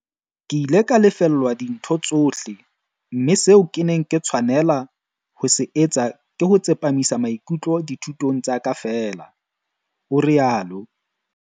"Ke ile ka lefellwa dintho tsohle, mme seo ke neng ke tshwanela ho se etsa ke ho tsepamisa maikutlo dithutong tsa ka feela," o rialo.